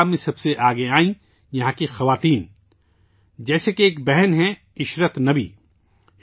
یہاں کی خواتین اس کام میں سب سے آگے آئیں، جیسے کہ ایک بہن ہیں عشرت نبی